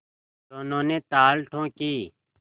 दोनों ने ताल ठोंकी